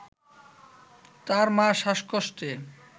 তার মা শ্বাসকষ্টে